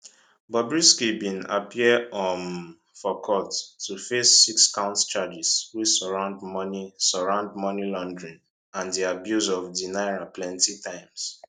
bobrisky bin appear um for court to face six count charges wey surround money surround money laundering and di abuse of di naira plenti times